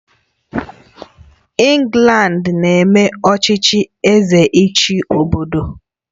England na-eme ọchịchị Eze ịchị obodo